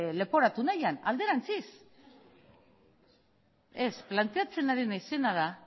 leporatu nahian alderantziz planteatzen ari naizena da